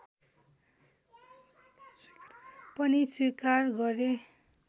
पनि स्वीकार गरे